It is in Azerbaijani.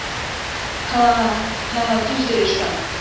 Hə, hə, düz deyirsən.